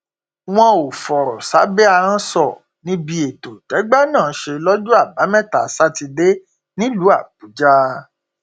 wọn ò fọrọ um sábẹ ahọn sọ níbi ètò tẹgbẹ náà ṣe lọjọ àbámẹta sátidé nílùú um àbújá